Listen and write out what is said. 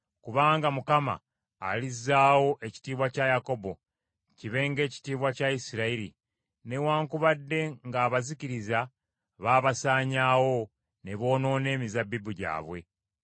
Kubanga Mukama alizzaawo ekitiibwa kya Yakobo, kibe ng’ekitiibwa kya Isirayiri, newaakubadde ng’abazikiriza baabasaanyawo, ne boonoona emizabbibu gyabwe.